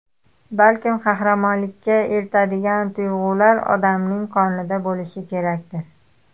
Balkim, qahramonlikka eltadigan tuyg‘ular odamning qonida bo‘lishi kerakdir?